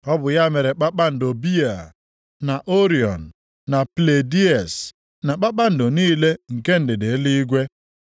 Ọ bụ ya mere kpakpando Bịaa, na Orion na Pleiades, na kpakpando niile nke ndịda eluigwe.